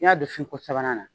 N'i y'a don fin ko sabanan na